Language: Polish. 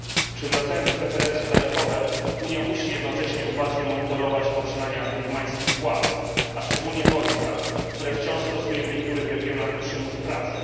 Przywracając preferencje taryfowe, Unia musi jednocześnie uważnie monitorować poczynania birmańskich władz, a szczególnie wojska, które wciąż stosuje w niektórych regionach przymus pracy.